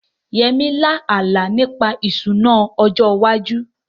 Yemi lá àlá nípa ìṣúná ọjọ́ iwájú